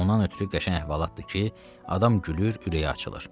Ondan ötrü qəşəng əhvalatdır ki, adam gülür, ürəyi açılır.